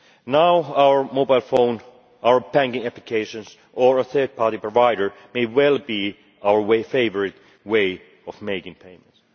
Now our mobile phone, our banking applications or a third party provider may well be our favourite way of making payments.